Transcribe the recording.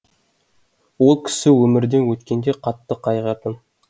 ол кісі өмірден өткенде қатты қайғырдым